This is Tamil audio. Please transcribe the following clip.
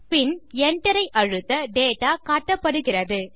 பின் enter ஐ அழுத்த டேட்டா காட்டப்படுகிறது